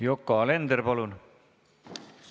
Yoko Alender, palun!